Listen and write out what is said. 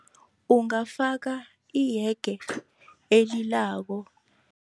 Ungafaka iyege elilako.